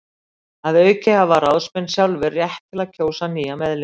Að auki hafa ráðsmenn sjálfir rétt til að kjósa nýja meðlimi.